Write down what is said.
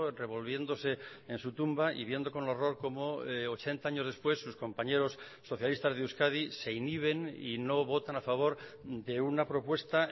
revolviéndose en su tumba y viendo con horror como ochenta años después sus compañeros socialistas de euskadi se inhiben y no votan a favor de una propuesta